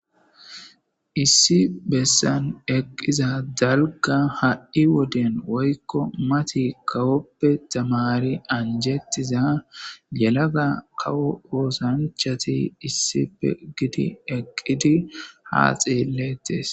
issi bessan eqqiza dalga ha7i woden woykko mati kawoppe tamari anjettiza yelaga kawo oosanchati issife gidi eqqidi haa xeellettes